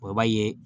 i b'a ye